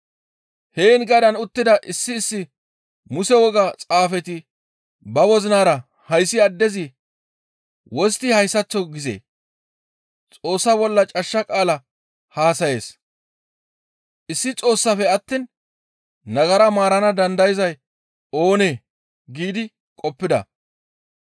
Heen gadaan uttida issi issi Muse woga xaafeti ba wozinara hayssi addezi wostti hayssaththo gizee? «Xoossa bolla cashsha qaala haasayees. Issi Xoossaafe attiin nagara maarana dandayzay oonee?» giidi qoppida.